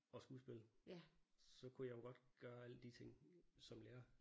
Og skuespil så kunne jeg jo godt gøre alle de ting som lærer